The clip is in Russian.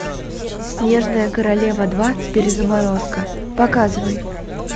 снежная королева два перезаморозка показывай